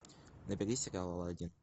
набери сериал алладин